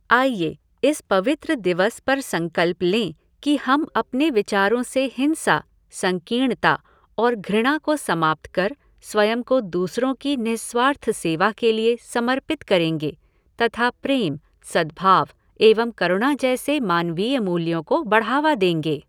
आइए, इस पवित्र दिवस पर संकल्प लें कि हम अपने विचारों से हिंसा, संकीर्णता और घृणा को समाप्त कर स्वयं को दूसरों की निःस्वार्थ सेवा के लिए समर्पित करेंगे तथा प्रेम, सद्भाव एवं करुणा जैसे मानवीय मूल्यों को बढ़ावा देंगे।